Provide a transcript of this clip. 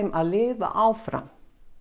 að lifa áfram